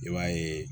I b'a yeee